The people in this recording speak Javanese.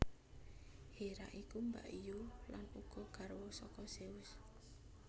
Hera iku mbakyu lan uga garwa saka Zeus